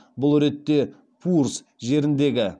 бұл ретте пуурс жеріндегі